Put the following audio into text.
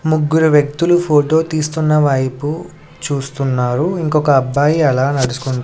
ముగ్గురు వ్యక్తులు ఫోటో తీస్తున్న వైపు చూస్తున్నారు ఇంకొక అబ్బాయి అలా నడుచుకుం--